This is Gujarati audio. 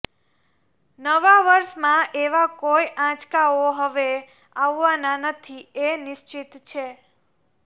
નવા વર્ષમાં એવા કોઈ આંચકાઓ હવે આવવાના નથી એ નિશ્ચિત છે